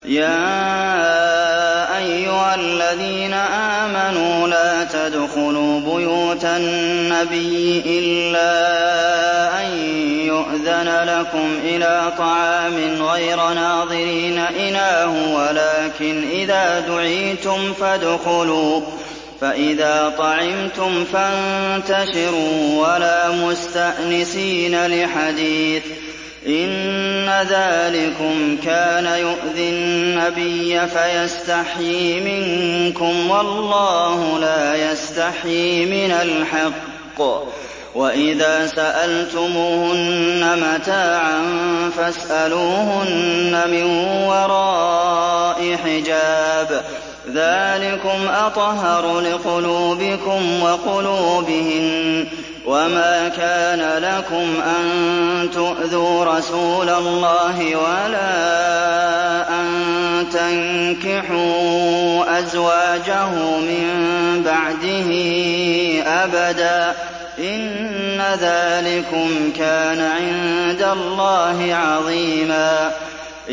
يَا أَيُّهَا الَّذِينَ آمَنُوا لَا تَدْخُلُوا بُيُوتَ النَّبِيِّ إِلَّا أَن يُؤْذَنَ لَكُمْ إِلَىٰ طَعَامٍ غَيْرَ نَاظِرِينَ إِنَاهُ وَلَٰكِنْ إِذَا دُعِيتُمْ فَادْخُلُوا فَإِذَا طَعِمْتُمْ فَانتَشِرُوا وَلَا مُسْتَأْنِسِينَ لِحَدِيثٍ ۚ إِنَّ ذَٰلِكُمْ كَانَ يُؤْذِي النَّبِيَّ فَيَسْتَحْيِي مِنكُمْ ۖ وَاللَّهُ لَا يَسْتَحْيِي مِنَ الْحَقِّ ۚ وَإِذَا سَأَلْتُمُوهُنَّ مَتَاعًا فَاسْأَلُوهُنَّ مِن وَرَاءِ حِجَابٍ ۚ ذَٰلِكُمْ أَطْهَرُ لِقُلُوبِكُمْ وَقُلُوبِهِنَّ ۚ وَمَا كَانَ لَكُمْ أَن تُؤْذُوا رَسُولَ اللَّهِ وَلَا أَن تَنكِحُوا أَزْوَاجَهُ مِن بَعْدِهِ أَبَدًا ۚ إِنَّ ذَٰلِكُمْ كَانَ عِندَ اللَّهِ عَظِيمًا